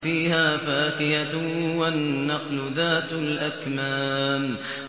فِيهَا فَاكِهَةٌ وَالنَّخْلُ ذَاتُ الْأَكْمَامِ